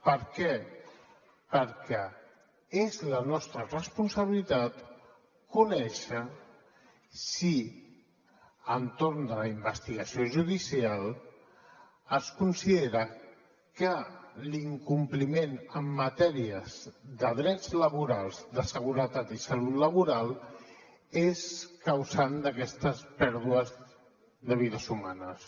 per què perquè és la nostra responsabilitat conèixer si entorn de la investigació judicial es considera que l’incompliment en matèries de drets laborals de seguretat i salut laboral és causant d’aquestes pèrdues de vides humanes